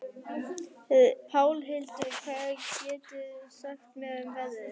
Pálhildur, hvað geturðu sagt mér um veðrið?